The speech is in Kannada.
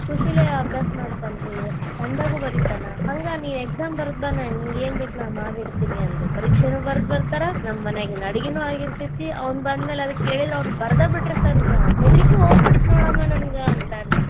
ಕುಶಿಲೇ ಅಭ್ಯಾಸ ಮಾಡ್ತಾನ್ರೀ ಚಂದಗು ಬರೀತಾನ ಹಂಗ ನೀ exam ಬರದ್ ಬಾ ನಿಂಗ ಏನ್ ಬೇಕ ನಾ ಅದನ್ನ ಮಾಡಿ ಇಡ್ತೇನಿ ಅನ್ನರಿ ಪರೀಕ್ಷೆನು ಬರದ್ ಬರ್ತಾರ ನಮ್ಮ ಮನ್ಯಾಗಿನ ಅಡಗಿನು ಆಗಿರ್ತೇತಿ ಅವ್ನ ಬಂದ್ ಮ್ಯಾಲೆ ಕೇಳಿಲ್ಲಾ ಬರದ್ ಬಿಟ್ಟಿರತಾನರಿ ಆವಾ ಹೆದ್ರಿಕಿ ಹೋಗ್ಬಿಡತ್ ನೋಡ ಅಮ್ಮಾ ನಂಗ ಅಂತಾನ್ರಿ.